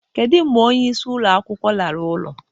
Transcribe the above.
Kedu mgbe onyeisi ụlọ akwụkwọ lara ụlọ?